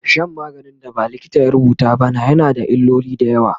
Shan maganin da ba likita ya rubuta ba na yana da illoli da yawa